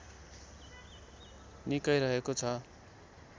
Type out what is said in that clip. निकै रहेको छ